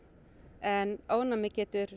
en ofnæmi getur